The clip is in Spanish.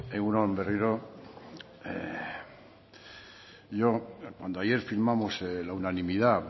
egun on berriro yo cuando ayer firmamos la unanimidad